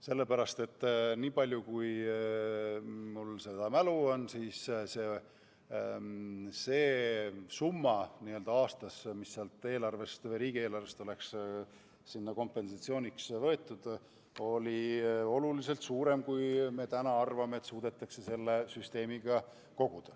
Sellepärast, et niipalju, kui ma mäletan, oli see summa, mis oleks aastas võetud riigieelarvest sinna kompensatsiooniks, oluliselt suurem kui see, mida me nüüd arvame, et suudetakse selle süsteemiga koguda.